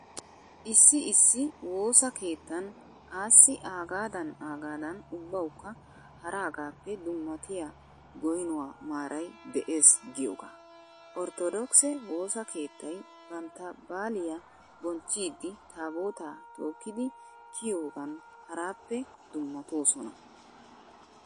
Issi issi woosa keettan assi aagadan aagaadan ubbawukka haraagaappe dummatiya goynuwa maaray de'ees giyogaa. Orttodokise woosa keettay bantta baaliya bonchchiiddi taaboota tookkidi kiyiyogan haraappe dummmatoosona.